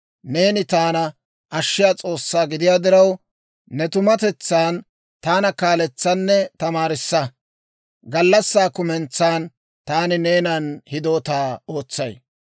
Neeni taana ashshiyaa S'oossaa gidiyaa diraw, ne tumatetsan taana kaaletsaanne tamaarissa. Gallassaa kumentsan taani neenan hidootaa ootsay.